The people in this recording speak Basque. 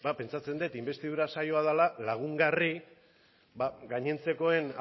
pentsatzen dut inbestidura saioa dela lagungarri gainontzekoen